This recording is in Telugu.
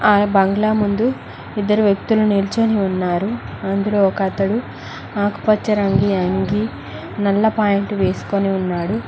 ఆ బంగ్లా ముందు ఇద్దరు వ్యక్తులు నిల్చొని ఉన్నారు అందులో ఒక అతడు ఆకుపచ్చ రంగు అంగి నల్ల పాయింట్ వేసుకొని ఉన్నాడు.